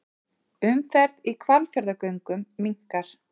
Umferð í Hvalfjarðargöngum minnkar